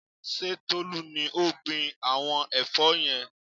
Ṣé Tolú ni ó gbin àwọn ẹ̀fọ́ yẹn?